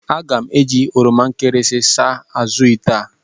Aga m eji oroma nkịrịsị saa azụ̀ ite a.